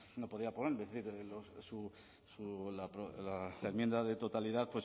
no podría ponerme es decir su la enmienda de totalidad